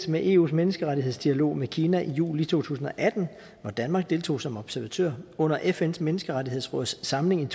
med eus menneskerettighedsdialog med kina i juli to tusind og atten hvor danmark deltog som observatør under fns menneskerettighedsråds samling